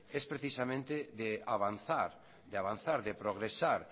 es precisamente de avanzar de avanzar de progresar